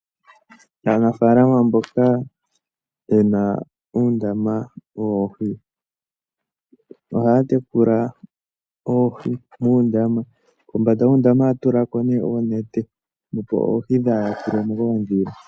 Aanafalama mboka yena uundama woohi ohaya tekula oohi muundama. Kombanda yuundama ohaya tulako nee oonete, opo oohi dhaa yakulwemo koodhila.